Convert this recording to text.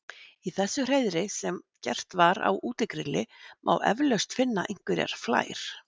í þessu hreiðri sem gert var á útigrilli má eflaust finna einhverjar flær